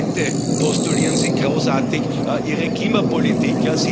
Heute postulieren Sie großartig Ihre Klimapolitik.